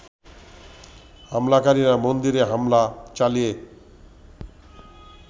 হামলাকারীরা মন্দিরে হামলা চালিয়ে